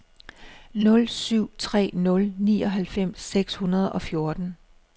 nul syv tre nul nioghalvfems seks hundrede og fjorten